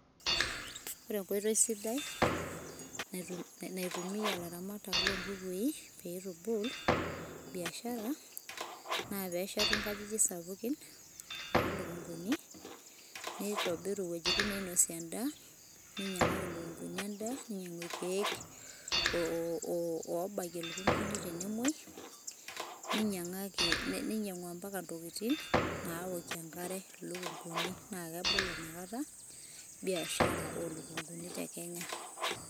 ore enkoitoi sidai naitumia laramatak lonkukui pitubul, biashara, na peshetu nkajijik sapukin olunguni neitobiru iweujitin nainosie enda, ninyiangaki ilikunguni enda ninyiangu ilkeek lobakie ilunguni tenemoui, ninyiangaki ninyiangu ambaka ntokitin naokie enkare na kebolo nakata biashara olukunguni tekenya,